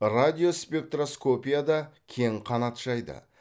радиоспектроскопия да кең қанат жайды